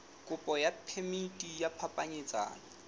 kopo ya phemiti ya phapanyetsano